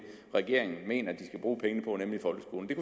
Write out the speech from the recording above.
regeringen mener de skal bruge pengene på nemlig folkeskolen det